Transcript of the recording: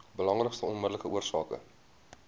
belangrikste onmiddellike oorsake